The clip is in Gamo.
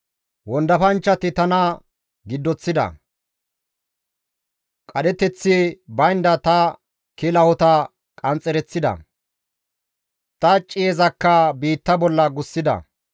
Wondafanchchati tana giddoththida; qadheteththi baynda ta kilahota qanxxereththida; ta ciyezakka biitta bolla gussida.